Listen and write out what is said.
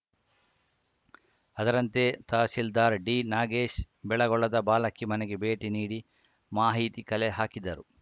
ಅದರಂತೆ ತಹಸೀಲ್ದಾರ್‌ ಡಿನಾಗೇಶ್‌ ಬೆಳಗೊಳದ ಬಾಲಕಿ ಮನೆಗೆ ಭೇಟಿ ನೀಡಿ ಮಾಹಿತಿ ಕಲೆ ಹಾಕಿದರು